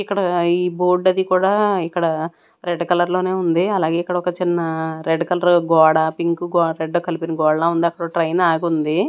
ఇక్కడ ఈ బోర్డు అది కూడా ఇక్కడ రెడ్ కలర్ లోనే ఉంది అలాగే ఇక్కడ ఒక చిన్న రెడ్ కలర్ గోడ పింక్ గో రెడ్ కలిపిన గోడ లా ఉంది. అక్కడో ట్రైను ఆగుంది.